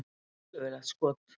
Skelfilegt skot!